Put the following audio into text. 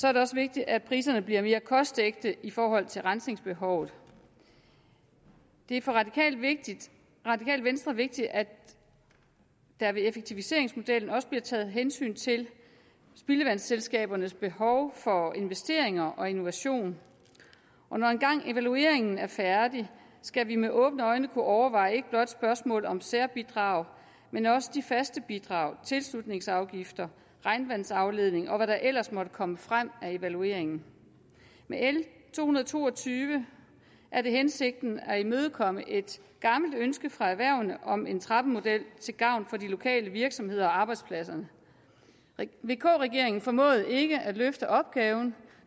er det også vigtigt at priserne bliver mere kostægte i forhold til rensningsbehovet det er for radikale venstre vigtigt at der ved effektiviseringsmodellen også bliver taget hensyn til spildevandsselskabernes behov for investeringer og innovation når engang evalueringen er færdig skal vi med åbne øjne kunne overveje ikke blot spørgsmål om særbidrag men også de faste bidrag tilslutningsafgifter regnvandsafledning og hvad der ellers måtte komme frem evalueringen med l to hundrede og to og tyve er det hensigten at imødekomme et gammelt ønske fra erhvervene om en trappemodel til gavn for de lokale virksomheder og arbejdspladser vk regeringen formåede ikke at løfte opgaven